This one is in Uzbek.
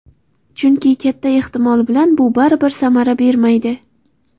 Chunki katta ehtimol bilan bu baribir samara bermaydi.